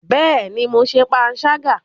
Bẹẹni, Mó ṣe panṣaga